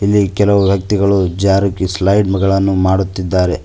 ಇಲ್ಲಿ ಕೆಲವು ವ್ಯಕ್ತಿಗಳು ಜಾರೋಕೆ ಸೈಡ್ ಗಳನ್ನು ಮಾಡುತ್ತಿದ್ದಾರೆ.